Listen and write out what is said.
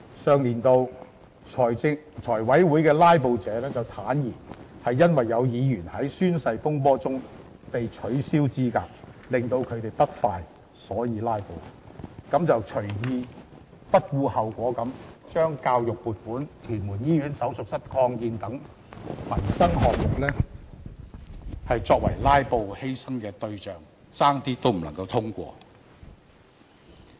上年度財務委員會的"拉布"者便坦言是因為有議員在宣誓風波中被取消資格令他們不快而"拉布"，於是便隨意、不顧後果地把教育撥款、屯門醫院手術室擴建等民生項目作為"拉布"犧牲的對象，差點未能通過。